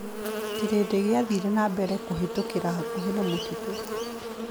Kĩrĩndĩ gĩathire na mbere kũhĩtũkĩra hakuhĩ na mũtitũ.